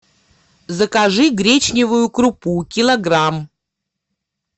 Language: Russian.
закажи гречневую крупу килограмм